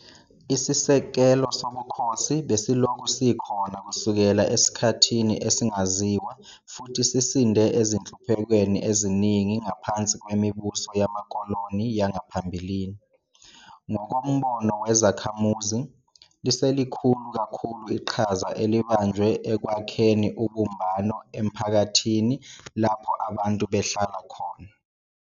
Isisekelo sobukhosi besilokhu sikhona kusukela esikhathini esingaziwa futhi sisinde ezinhluphekweni eziningi ngaphansi kwemibuso yamakoloni yangaphambilini. Ngokombono kwezakhamuzi, liselikhulu kakhulu iqhaza elibanjwe ekwakheni ubumbano emphakathini lapho abantu behlala khona.